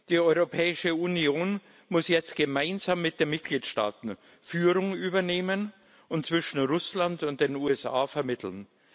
Die Europäische Union muss jetzt gemeinsam mit den Mitgliedstaaten Führung übernehmen und zwischen Russland und den USA vermitteln.